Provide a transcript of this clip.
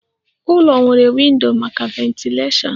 Ụlọ nwere windo maka ventilashion